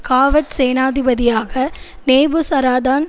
காவற் சேனாதிபதியாக நேபுசராதான்